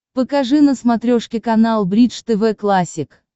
покажи на смотрешке канал бридж тв классик